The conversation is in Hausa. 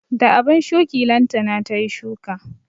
Da abun shuki lantana tayi shuka